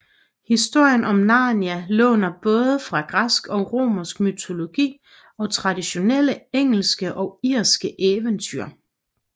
Historien om Narnia låner både fra græsk og romersk mytologi og traditionelle engelske og irske eventyr